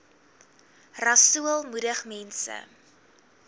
rasool moedig mense